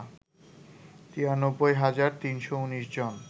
৯৩ হাজার ৩১৯ জন